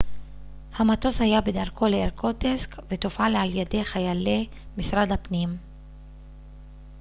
המטוס היה בדרכו לאירקוטסק ותופעל על ידי חיילי משרד הפנים